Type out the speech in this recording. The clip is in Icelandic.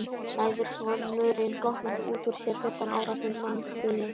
læðir sonurinn glottandi út úr sér, fimmtán ára himnastigi.